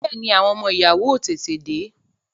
Bẹẹni, àwọn ọmọ ìyàwó ó tètè dé bẹ